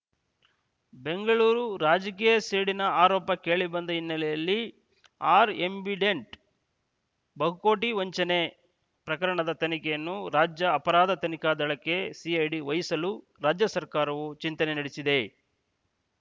ಬೆಂಗಳೂರು ರಾಜಕೀಯ ಸೇಡಿನ ಆರೋಪ ಕೇಳಿಬಂದ ಹಿನ್ನೆಲೆಯಲ್ಲಿ ಆರ್ ಆ್ಯಂಬಿಡೆಂಟ್‌ ಬಹುಕೋಟಿ ವಂಚನೆ ಪ್ರಕರಣದ ತನಿಖೆಯನ್ನು ರಾಜ್ಯ ಅಪರಾಧ ತನಿಖಾ ದಳಕ್ಕೆ ಸಿಐಡಿ ವಹಿಸಲು ರಾಜ್ಯ ಸರ್ಕಾರವು ಚಿಂತನೆ ನಡೆಸಿದೆ